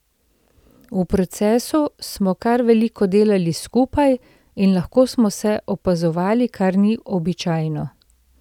V procesu smo kar veliko delali skupaj in lahko smo se opazovali, kar ni običajno.